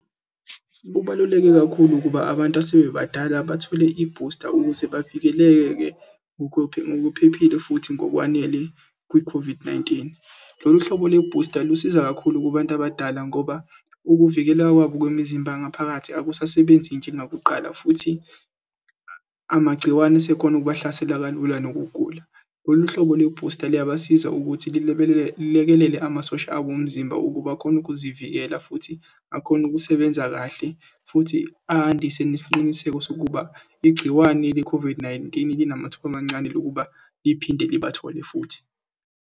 Kubaluleke kakhulu ukuba abantu asebebadala bathole ibhusta ukuze bavikeleke ngokuphephile futhi ngokwanele kwi-COVID-19. Lolu hlobo le bhusta lusiza kakhulu kubantu abadala ngoba ukuvikeleka kwabo kwemizimba ngaphakathi akusasebenzi njengakuqala, futhi amagciwane asekhona ukubahlasela kalula nokugula. Lolu hlobo le bhusta luyabasiza ukuthi lilekelele amasosha abo omzimba ukuba akhone ukuzivikela, futhi akhone ukusebenza kahle, futhi andise nesiqiniseko sokuba igciwane le-COVID-19, linamathuba amancane lokuba liphinde libathole futhi.